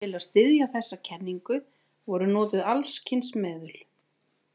Til að styðja þessa kenningu voru notuð alls kyns meðul.